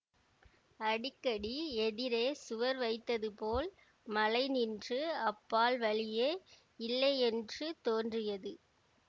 அடிக்கடி எதிரே சுவர் வைத்தது போல் மலை நின்று அப்பால் வழியே இல்லையென்று தோன்றியது